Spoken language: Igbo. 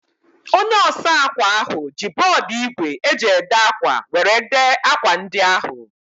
Onye osa akwa ahu ji bọọdu igwe e ji ede akwa were dee akwa ndi ahu